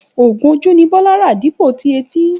Ògùn ojú ni Bólá rà dípò tí etí